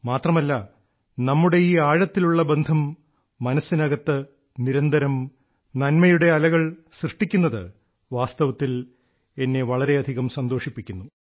മാത്രമല്ല നമ്മുടെ ഈ ആഴത്തിലുള്ള ബന്ധം മനസ്സിനകത്ത് നിരന്തരം നന്മയുടെ അലകൾ സൃഷ്ടിക്കുന്നത് വാസ്തവത്തിൽ എന്നെ വളരെയധികം സന്തോഷിപ്പിക്കുന്നു